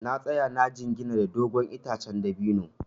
Na tsaya na jingina da dogon itacen dabino.